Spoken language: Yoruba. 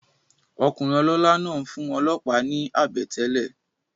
Okùnrin olólá náà n fún olòópá náà ni àbètélè